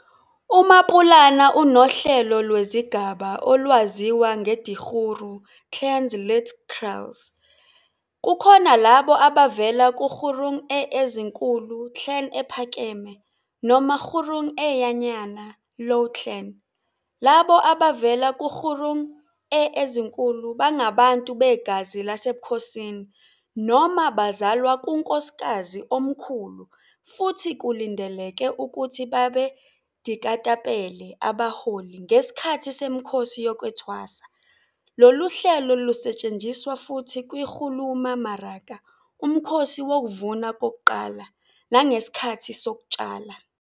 UMapulana unohlelo lwezigaba, olwaziwa ngeDikgoro, Clans lit. "kraals". Kukhona labo abavela ku-Kgorong e ezinkulu, clan ephakeme, noma Kgorong ea nyana, low clan. Labo abavela kuKgorong e ezinkulu bangabantu begazi lasebukhosini noma bazalwa kunkosikazi omkhulu futhi kulindeleke ukuthi babe dikata-pele, abaholi, ngesikhathi semikhosi yokwethwasa. Lolu hlelo lusetshenziswa futhi kwi-go loma maraka, umkhosi wokuvuna kokuqala, nangesikhathi sokutshala.